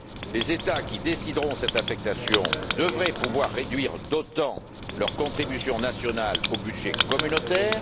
Les États qui choisiront cette affectation devraient pouvoir réduire d'autant leur contribution nationale au budget communautaire.